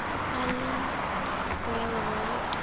island rail road